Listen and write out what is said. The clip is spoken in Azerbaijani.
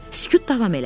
Sükut davam elədi.